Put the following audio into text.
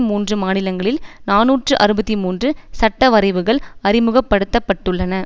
மூன்று மாநிலங்களில் நாநூற்று அறுபத்தி மூன்று சட்டவரைவுகள் அறிமுகப்படுத்த பட்டுள்ளன